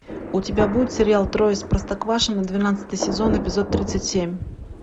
у тебя будет сериал трое из простоквашино двенадцатый сезон эпизод тридцать семь